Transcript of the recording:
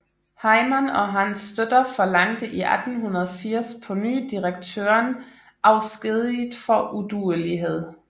Heyman og hans støtter forlangte i 1880 på ny direktøren afskediget for uduelighed